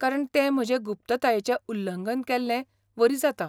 कारण तें म्हजे गुप्ततायेचें उल्लंघन केल्ले वरी जाता.